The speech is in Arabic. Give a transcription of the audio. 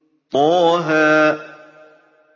طه